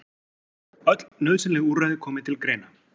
Öll nauðsynleg úrræði komi til greina